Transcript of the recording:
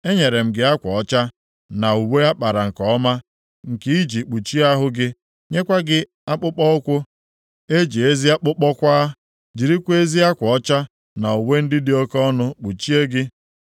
Enyere m gị akwa ọcha na uwe a kpara nke ọma, nke i ji kpuchie ahụ gị. Nyekwa gị akpụkpọụkwụ e ji ezi akpụkpọ kwaa, jirikwa ezi akwa ọcha na uwe ndị dị oke ọnụ kpuchie gị.